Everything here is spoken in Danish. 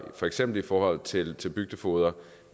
for eksempel i forhold til til bygdefogeder